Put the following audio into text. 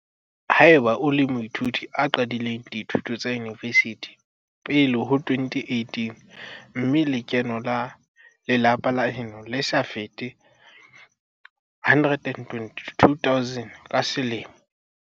Ha eba o le moithuti a qadileng dithuto tsa yunivesithi pele ho 2018 mme lekeno la lelapa la heno le sa fete R122 000 ka selemo.